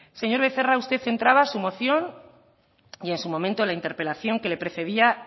señor becerra usted entraba en su moción y en su momento en la interpelación que le precedía